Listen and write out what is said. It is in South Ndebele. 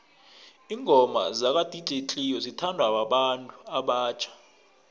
ingoma zaka dj cleo zithanwa babantu abatjha